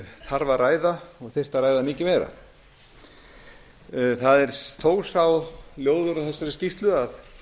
þarf að ræða og þyrfti að ræða mikið meira það er þó sá ljóður á þessari skýrslu að